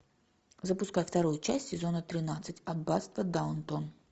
запускай вторую часть сезона тринадцать аббатство даунтон